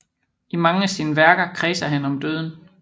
I mange af sine værker kredser han om døden